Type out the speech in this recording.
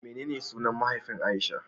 Menene sunan mahaifin Aisha?